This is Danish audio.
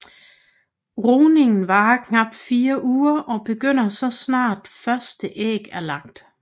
Rugningen varer knapt fire uger og begynder så snart første æg er lagt